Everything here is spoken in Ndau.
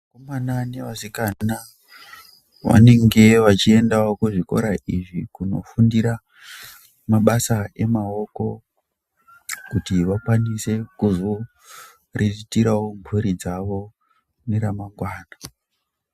Vakomana nevasikana vanenge vachiendawo kuzvikora izvi kunofundira mabasa emaoko kuti vakwanisewo kuzoriritirawo mhuri dzawo mune ramangwana.